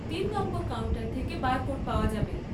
তিন number counter থেকে barcode পাওয়া যাবে।